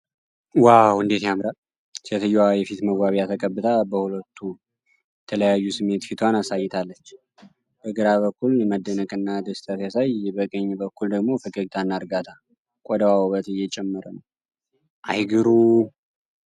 ዋው እንዴት ያምራል! ሴትየዋ የፊት መዋቢያ ተቀብታ በሁለት የተለያዩ ስሜት ፊቷን አሳይታለች። በግራ በኩል መደነቅና ደስታ ሲያሳይ በቀኝ በኩል ደግሞ ፈገግታና እርጋታ ። ቆዳዋ ውበት እየጨመረ ነው። አይ ግሩም !!